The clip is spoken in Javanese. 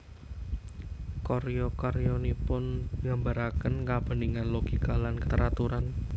Karya karyanipun nggambaraken kabeningan logika lan kateraturan